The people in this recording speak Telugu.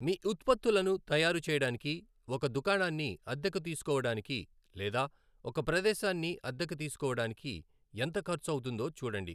మీ ఉత్పత్తులను తయారు చేయడానికి ఒక దుకాణాన్ని అద్దెకు తీసుకోవడానికి లేదా ఒక ప్రదేశాన్ని అద్దెకు తీసుకోవడానికి ఎంత ఖర్చు అవుతుందో చూడండి.